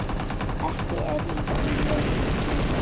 Ekki er í þér lús